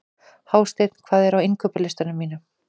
Hásteinn, hvað er á innkaupalistanum mínum?